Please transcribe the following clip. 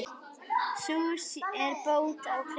Sú er bót á klæði.